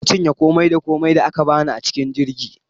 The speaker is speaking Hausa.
Na cinye komai da komai da aka bani a cikin jirgin